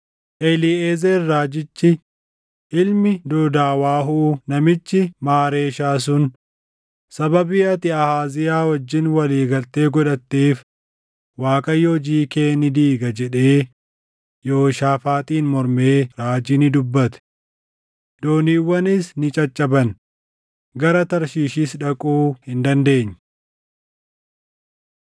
Eliiʼezer raajichi ilmi Doodaawaahuu namichi Maareeshaa sun, “Sababii ati Ahaaziyaa wajjin walii galtee godhatteef Waaqayyo hojii kee ni diiga” jedhee Yehooshaafaaxiin mormee raajii ni dubbate. Dooniiwwanis ni caccaban; gara Tarshiishis dhaquu hin dandeenye.